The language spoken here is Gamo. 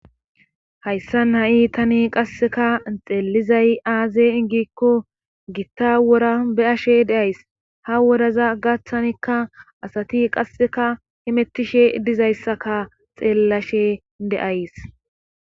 hayssan ha'i tani qasseka xeelizay aaze gikko gitta wora be'ashe de'ays ha woraza gaththanikka asati qasseka himettishe dizayssaka xeellashe de'ays